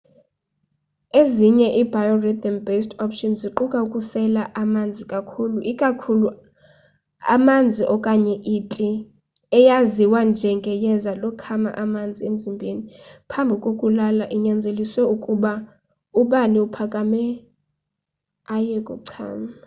ezinye i biorhythm-based options ziquka ukusela amanzi kakhulu ikakhulu amanzi okanye iti eyaziwa nje ngeyeza lokhama amanzi emzimbeni phambi kokulala inyanzelise ukuba ubani aphakame aye kuchama